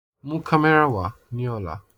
Mú kàmẹ̀rà wa ni ọ̀là